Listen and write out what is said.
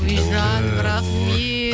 и жаным рахмет